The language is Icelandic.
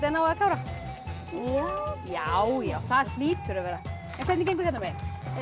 náið að klára já já já það hlýtur að vera en hvernig gengur hérna megin